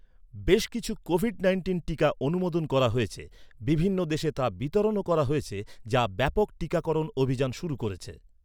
বেশ কিছু COVID nineteen টীকা অনুমোদন করা হয়েছে। বিভিন্ন দেশে তা বিতরণও করা হয়েছে, যা ব্যাপক টিকাকরণ অভিযান শুরু করেছে।